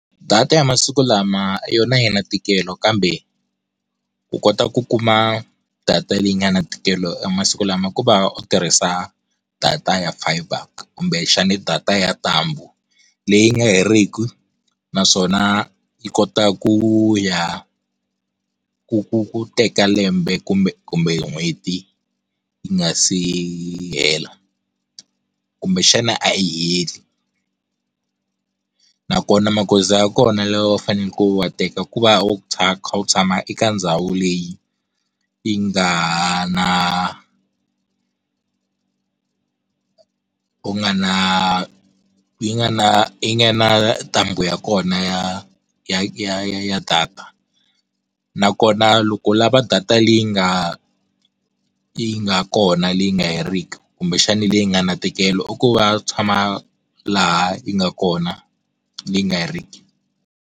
Data ya masiku lama yona a yi na ntikelo kambe, u kota ku kuma data leyi nga na ntikelo masiku lama ku va u tirhisa data ya fibre kumbexana data ya ntambu. Leyi nga heriki, naswona, yi kota ku ya ku ku ku teka lembe kumbe kumbe hi n'hweti yi nga si hela. Kumbexana a yi heli. Nakona magoza ya kona lawa u faneleke wa teka ku va u kha u tshama eka ndhawu leyi, yi nga ha na u nga na, yi nga na yi nga na ntambu ya kona ya, ya ya ya ya data. Nakona loko u lava data leyi nga, yi nga kona leyi nga heriki, kumbexani leyi nga na ntikelo u ku va tshama, laha yi nga kona, leyi nga heriki.